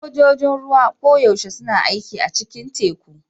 Sojojin ruwa koyaushe suna aiki a cikin teku.